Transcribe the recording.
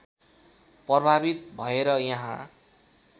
प्रभावित भएर यहाँ